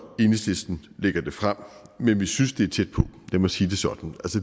enhedslisten lægger det frem men vi synes det er tæt på lad mig sige det sådan